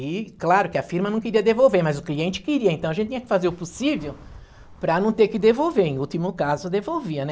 E claro que a firma não queria devolver, mas o cliente queria, então a gente tinha que fazer o possível para não ter que devolver, em último caso devolvia, né?